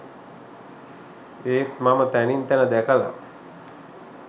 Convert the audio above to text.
ඒත් මම තැනින් තැන දැකල